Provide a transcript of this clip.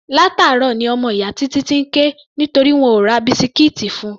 Látàárọ̀ ní ọmọ ìyá Títí ti ń ké nítorí wọn ò ra bisikíìtì fun.